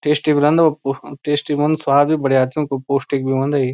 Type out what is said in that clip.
टेस्टी भी रंदा व कु टेस्टी स्वाद भी बढ़िया च उन्कू पौष्टिक भी हुंदा ये।